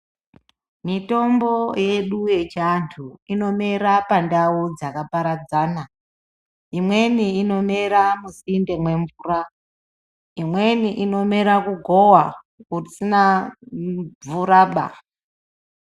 Mitombo yedu yechiantu inomera pandau dzakaparadzana. Imweni inomera musinde mwemvura. Imweni inomera kugova kusina mvuraba.